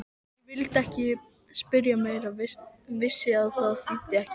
Ég vildi ekki spyrja meira, vissi að það þýddi ekki.